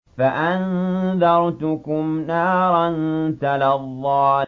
فَأَنذَرْتُكُمْ نَارًا تَلَظَّىٰ